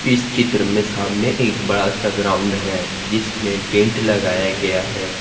इस चित्र में सामने एक बड़ा सा ग्राउंड है जिसमें टेंट लगाया गया है।